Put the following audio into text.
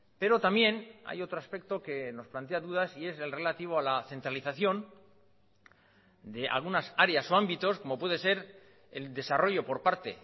pero también hay otro aspecto que nos plantea dudas y es el relativo a la centralización de algunas áreas o ámbitos como puede ser el desarrollo por parte